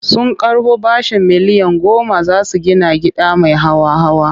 Sun karɓo bashin miliyan goma za su gida gida mai hawa-hawa.